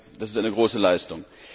Das ist eine große Leistung.